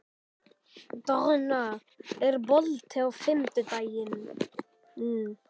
Donna, er bolti á fimmtudaginn?